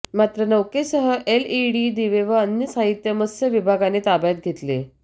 मात्र नौकेसह एलईडी दिवे व अन्य साहित्य मत्स्य विभागाने ताब्यात घेतले